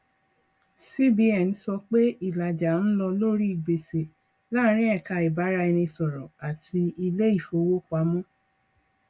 cbn sọ pé ìlàjà ń lọ lórí gbèsè láàrín ẹka ìbáraẹnisọrọ àti ilé ìfowópamọ